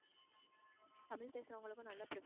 தமிழ் பேசுறவங்களுக்கும் நல்லா pref~